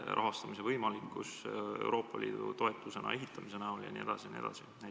Ja kui suur on võimalus, et projekti rahastatakse ka Euroopa Liidu toetusena?